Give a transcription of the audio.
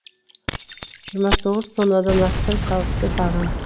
жиырма тоғыз тоннадан астам қауіпті тағам